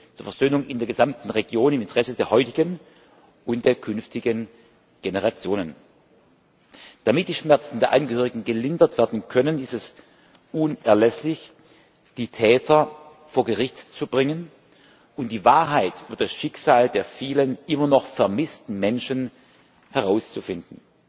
zur Versöhnung in der gesamten Region im Interesse der heutigen und der künftigen Generationen. Damit die Schmerzen der Angehörigen gelindert werden können, ist es unerlässlich, die Täter vor Gericht zu bringen und die Wahrheit und das Schicksal der vielen immer noch vermissten Menschen herauszufinden.